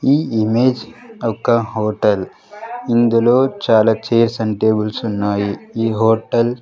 ఈ ఇమేజ్ ఒక హోటల్ ఇందులో చాలా చైర్స్ అండ్ టేబుల్స్ ఉన్నాయి ఈ హోటల్ .